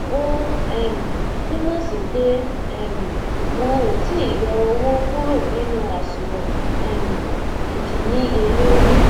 o um tun mo si pe um won o ti i yo owo kuro ninu asunwon um idinniyelori